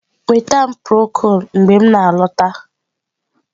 Nweta m prokol mgbe m na-alọta.